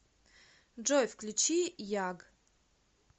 джой включи яг